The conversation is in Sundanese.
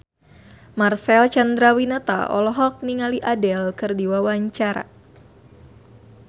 Marcel Chandrawinata olohok ningali Adele keur diwawancara